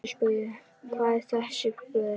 Hver er þetta, spurði hann.